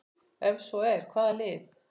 Ef svo er, hvaða lið?